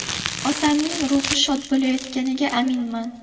Otamning ruhi shod bo‘layotganiga aminman.